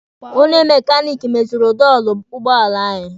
Onye mekaniki meziri dọọlụ ụgbọala anyị.